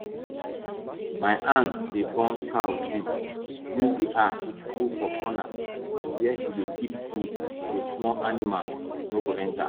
my aunt dey burn cow sheat use the ash put for corner where she dey keep food so small animals no go enter